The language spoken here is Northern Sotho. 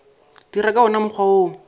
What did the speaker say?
dira ka wona mokgwa wo